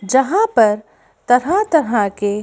जहाँ पर तरह-तरह के--